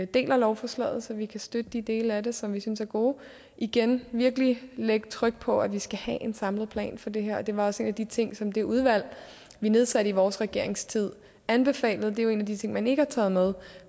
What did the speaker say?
dele lovforslaget så vi kan støtte de dele af det som vi synes er gode og igen virkelig lægge tryk på at vi skal have en samlet plan for det her det var også en af de ting som det udvalg vi nedsatte i vores regerings tid anbefalede det er jo en af de ting man ikke har taget med